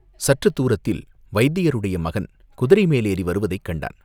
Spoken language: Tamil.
சற்றுத் தூரத்தில் வைத்தியருடைய மகன் குதிரை மேலேறி வருவதைக் கண்டான்.